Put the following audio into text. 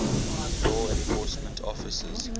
law enforcement officers